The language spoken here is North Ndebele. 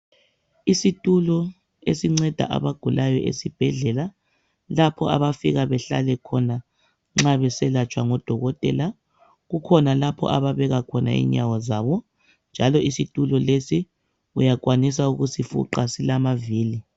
Isitulo esinceda abagulayo esibhedlela lapho abafika behlale khona nxa beselatshwa ngodokotela. Kukhona lapho ababeka khona inyawo zabo njalo isitulo lesi uyakwanisa ukusifuqa silamavili.